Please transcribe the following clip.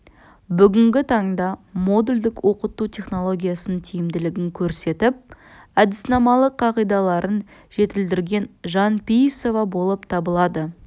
бүгінгі таңда модульдік оқыту технологиясының тиімділігін көрсетіп әдіснамалық қағидалаларын жетілдірген жанпейісова болып табылады